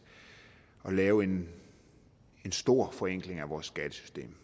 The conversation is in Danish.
at lave en stor forenkling af vores skattesystem